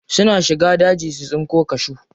Suna shiga daji su tsinko cashew.